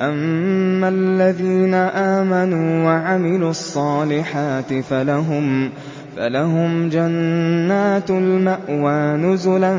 أَمَّا الَّذِينَ آمَنُوا وَعَمِلُوا الصَّالِحَاتِ فَلَهُمْ جَنَّاتُ الْمَأْوَىٰ نُزُلًا